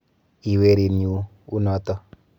Ii werinyu, u noto.